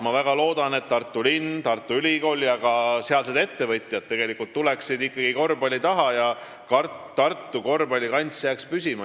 Ma väga loodan, et Tartu linn, Tartu Ülikool ja sealsed ettevõtjad ikkagi tulevad korvpalli taha ja Tartu korvpallikants jääb püsima.